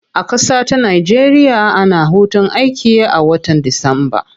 A kasata nigeria, ana hutun aiki a watan disamba.